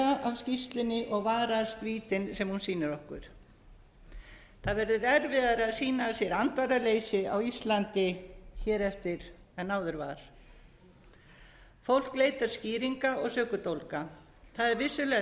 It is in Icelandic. að læra af skýrslunni og varast vítin sem hún sýnir okkur það verður erfiðara að sýna af sér andvaraleysi á íslandi hér eftir en áður var fólk leitar skýringa og sökudólga það er vissulega